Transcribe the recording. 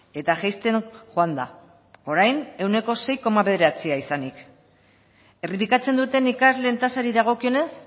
eta jaisten joan da orain ehuneko sei koma bederatzia izanik errepikatzen duten ikasleen tasari dagokionez